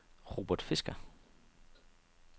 Robert Fisker